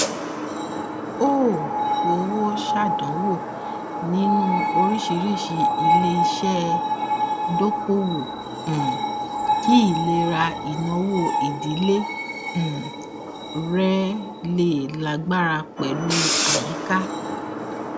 ó ó fowó ṣàdánwò nínú oríṣìíríṣìí iléiṣẹ dokoowó um kí ìlera ináwó ìdílé um rẹ lè lágbára pẹlú àyíká